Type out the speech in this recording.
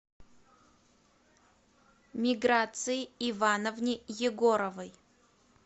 миграции ивановне егоровой